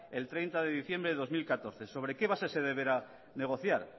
el treinta de diciembre de dos mil catorce sobre qué base se deberá negociar